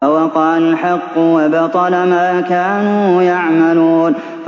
فَوَقَعَ الْحَقُّ وَبَطَلَ مَا كَانُوا يَعْمَلُونَ